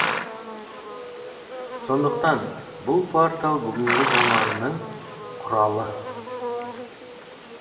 сондықтан бұл портал бүгінгі заманның құралы